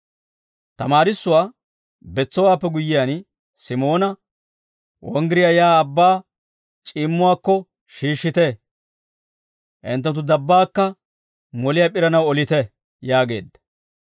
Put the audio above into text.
Tamaarissuwaa betsowaappe guyyiyaan Simoona, «Wonggiriyaa yaa abbaa c'iimmuwaakko shiishshite; hinttenttu dabbaakka moliyaa p'iranaw olite» yaageedda.